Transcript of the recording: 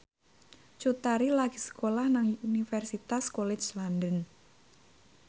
Cut Tari lagi sekolah nang Universitas College London